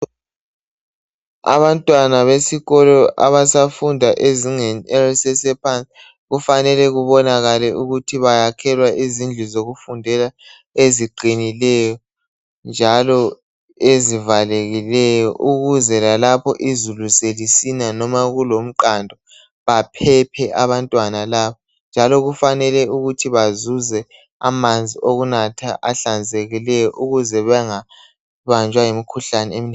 abantwana besikolo abasafunda ezingeni elisesephansi kufanele kubonakale ukuthi bayakhelwa izindlu zokufundela eziqinileyo njalo ezivalekileyo ukuze lalapho izulu selisina noma kulomqando baphephe abantwana laba njalo kufanele ukuthi bazuze amanzi okunatha ahlanzekileyo ukuze bengabanjwa yimikhuhlane eminengi